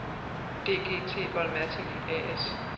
DGT-Volmatic A/S